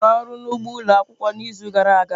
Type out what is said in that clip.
Ị rụrụ ọrụ n'ugbo ụlọ akwụkwọ n'izu gara aga?